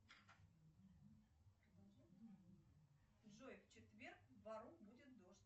джой в четверг в бору будет дождь